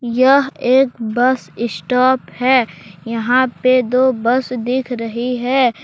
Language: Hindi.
यह एक बस स्टॉप है यहां पे दो बस देख रही है।